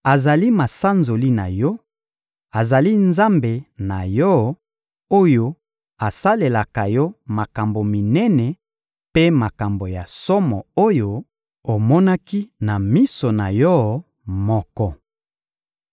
Azali masanzoli na yo, azali Nzambe na yo, oyo asalelaka yo makambo minene mpe makambo ya somo oyo omonaki na miso na yo moko.